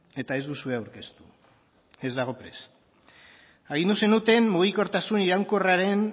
eta ez duzue aurkeztu ez dago prest agindu zenuten mugikortasun